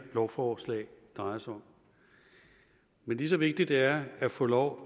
lovforslag drejer sig om men lige så vigtigt det er at få lov